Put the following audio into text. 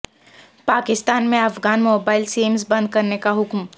پاکستان میں افغان mobile SIMs بند کرنے کا حکم